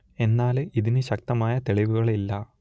എന്നാൽ ഇതിന് ശക്തമായ തെളിവുകൾ ഇല്ല